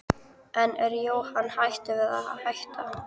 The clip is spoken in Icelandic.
En er Jóhann hættur við að hætta?